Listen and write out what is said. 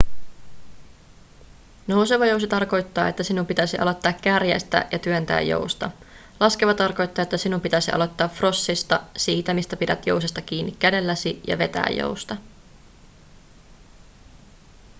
nouseva jousi tarkoittaa että sinun pitäisi aloittaa kärjestä ja työntää jousta. laskeva tarkoittaa että sinun pitäisi aloittaa frossista siitä mistä pidät jousesta kiinni kädelläsi ja vetää jousta